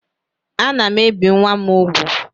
Ana m ebi nwa m úgwù